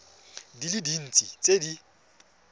di le dintsi tse di